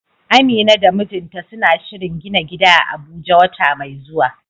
Amina da mijinta suna shirin gina gida a Abuja wata mai zuwa.